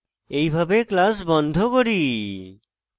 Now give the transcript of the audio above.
এইভাবে class বন্ধ করি